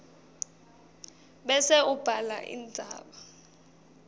bese ubhala indzaba